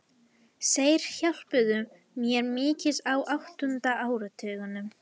Þeir hjálpuðu mér mikið á áttunda áratugnum.